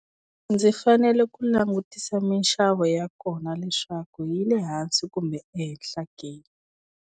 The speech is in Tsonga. Ndzi fanele ku langutisa minxavo ya kona leswaku yile hansi kumbe ehenhla ke.